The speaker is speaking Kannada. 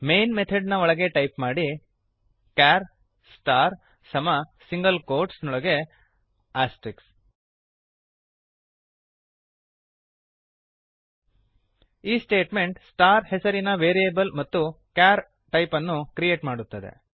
ಮೈನ್ ಮೆಥಡ್ ನ ಒಳಗೆ ಟೈಪ್ ಮಾಡಿ ಚಾರ್ ಸ್ಟಾರ್ ಕ್ಯಾರ್ ಸ್ಟಾರ್ ಸಮ ಸಿಂಗಲ್ ಕೋಟ್ಸ್ ನೊಳಗೆ ಆಸ್ಟ್ರಿಕ್ಸ್ ಈ ಸ್ಟೇಟ್ಮೆಂಟ್ ಸ್ಟಾರ್ ಸ್ಟಾರ್ ಹೆಸರಿನ ವೇರಿಯೇಬಲ್ ಮತ್ತು ಚಾರ್ ಕ್ಯಾರ್ ಟೈಪನ್ನು ಕ್ರಿಯೇಟ್ ಮಾಡುತ್ತದೆ